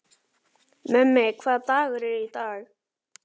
Mummi, hvaða dagur er í dag?